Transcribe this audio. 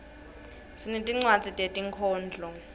sinetinwadzi tetinkhondlo